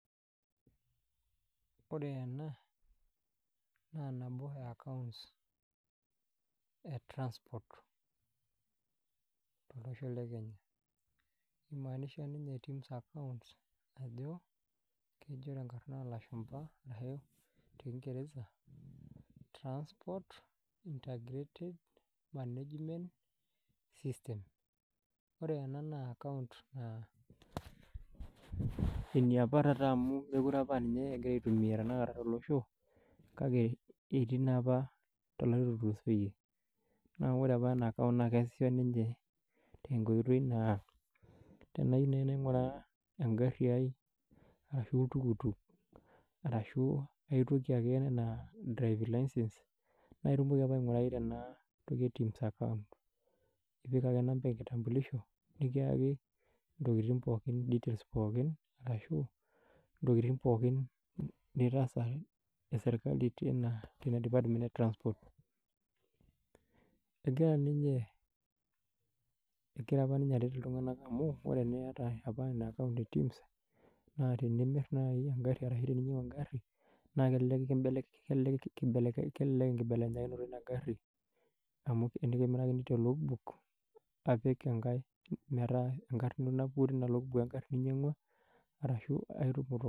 Wore ena, naa nabo ee account ee transport tolosho lekenya. Kimaanisha ninye Tim's account ajo, kejo tenkarna oolashumba arashu te kingeresa, transport integrated management system. Wore ena naa account naa eniapa taata amu mekure apa aa ninye ekirai aitumia tenakata tolosho, kake etii naapa toolarin lootulusotie. Naa wore apa ena account naa keasisho ninche, tenkoitoi naa tenayieu naaji nainguraa enkarri ai, arashu oltuktuk arashu aitoki ake enaa driving license. Naa itumoki apa aingurai tena toki e Tim's account. Ipik ake namba enkitambulisho, nikiaki intokitin pookin details pookin, arashu intokitin pookin nitaasa esirkali tenia department e transport. Ekira apa ninye aret iltunganak amuu, wore eniata apa inia account e Tim's, naa tenimir naai enkari arashu teninyiangu enkarri, naa kelelek enkibelekenyata inia ari, amu tenikimirakini te log book apik enkae metaa enkarna ino napuku tenia log book enkari ninyiangua, arashu ai